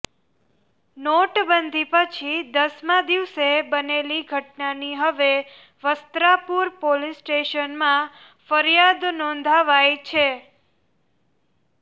નોટબંધી પછી દસમા દિવસે બનેલી ઘટનાની હવે વસ્ત્રાપુર પોલીસ સ્ટેશનમાં ફરિયાદ નોંધાવાઈ છે